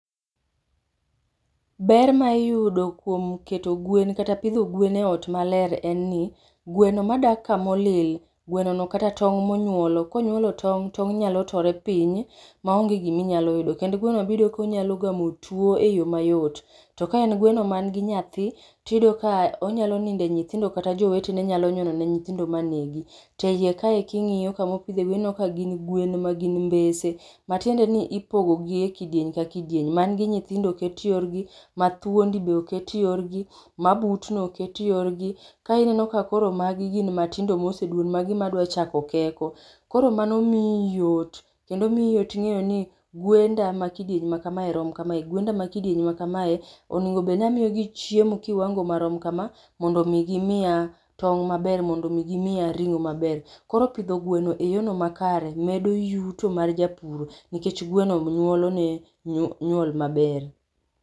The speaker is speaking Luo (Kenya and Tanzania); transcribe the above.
Ber ma iyudo kuom keto gwen kata pidho gwen e ot maler en ni, gweno madak kamolil, gweno no kata tong' monyuolo, konyuolo tong', tong' nyalo tore piny, maonge gi minyalo yudo. Kendo gweno no biyudo ka onyalo gemo tuwo e yo mayot. To ka en gweno mani gi nyathi, tiyudo ka onyalo nido e nyithindo kata joweteno nyalo nyonone nyithindo manegi. Te Iye kae king'yo kamopidhe gwen ineno ka gin gwen magin mbese matiende ni ipogogi e kidieny ka kidieny. Man gi nyithindo oket yorgi, mathuondi be oket yorgi, mabutno oket yorgi, kae ineno ka koro magi gin matindo moseduon, magi madwa chako keko. Koro mano mii yot kendo mii yot ng’eyo ni Gwenda makidieny makamae rom kamae. Gwendi ma kidieny ma kamae onego bed ni amiyogi chiemo kiwango marom kama mondo mi gimiya tong’ maber, mondo mi gimiya ring’o maber. Koro pidho gweno e yor no makare medo yuto mar japuro nikech gweno nyuolo ne nyuol maber.